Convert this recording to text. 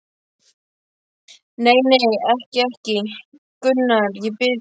Nei, nei, ekki, ekki, Gunnar, ég bið þig.